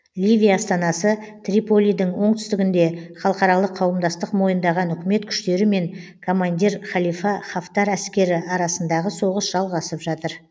ливия астанасы триполидің оңтүстігінде халықаралық қауымдастық мойындаған үкімет күштері мен коммандир халифа хафтар әскері арасында соғыс жалғасып жатыр